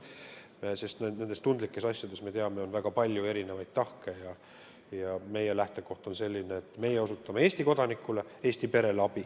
Nendes tundlikes asjades, me teame, on väga palju erinevaid tahke ja meie lähtekoht on selline, et meie osutame Eesti kodanikule, Eesti perele abi.